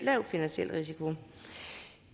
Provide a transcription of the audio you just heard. lav finansiel risiko